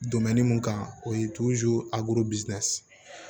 mun kan o ye